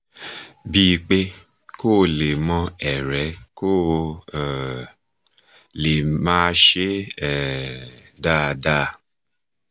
bí pé kó o lè mọ́ ẹ̀rẹ́ kó o um lè máa ṣe um dáadáa